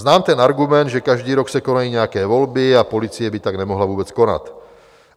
Znám ten argument, že každý rok se konají nějaké volby, a policie by tak nemohla vůbec konat.